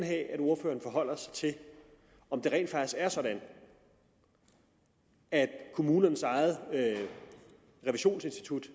have at ordføreren forholder sig til om det rent faktisk er sådan at kommunernes eget revisionsinstitut